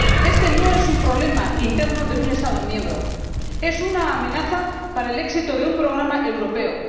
Este no es un problema interno de un Estado miembro, es una amenaza para el éxito de un programa europeo.